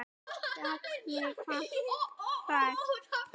Gat mig vart hrært.